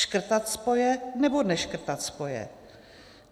Škrtat spoje, nebo neškrtat spoje?